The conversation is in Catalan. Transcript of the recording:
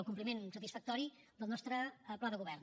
el compliment satisfactori del nostre pla de govern